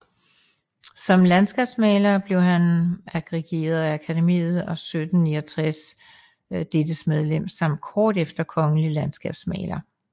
Som landskabsmaler blev han agreeret af Akademiet og 1769 dettes medlem samt kort efter kongelig landskabsmaler